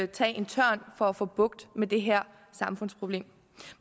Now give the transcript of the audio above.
tage en tørn for at få bugt med det her samfundsproblem